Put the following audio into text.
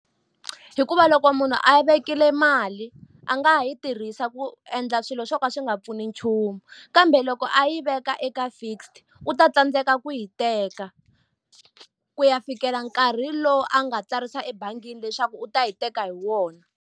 Hikuva loko munhu a yi vekile mali a nga ha yi tirhisa ku endla swilo swo ka swi nga pfuni nchumu. Kambe loko a yi veka eka fixed, u ta tsandzeka ku yi teka ku ya fikela nkarhi lowu a nga tsarisa ebangini leswaku u ta yi teka hi wona.